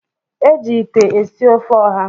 E ji ite esi ofe ọha.